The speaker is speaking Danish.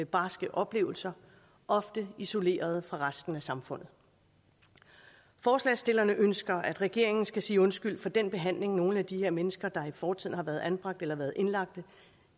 barske oplevelser ofte isoleret fra resten af samfundet forslagsstillerne ønsker at regeringen skal sige undskyld for den behandling nogle af de her mennesker der i fortiden har været anbragt eller været indlagt